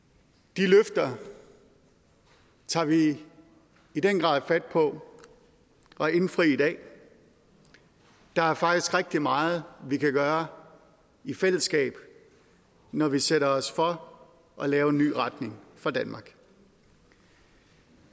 de løfter tager vi i den grad fat på at indfri i dag der er faktisk rigtig meget vi kan gøre i fællesskab når vi sætter os for at lave en ny retning for danmark